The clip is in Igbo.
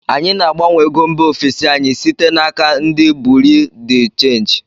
Anyị na-agbanwe ego mba ofesi anyị site na aka ndị buriu di chenji